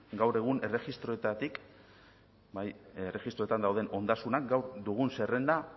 gaur egun erregistroetan dauden ondasunak gaur dugun zerrenda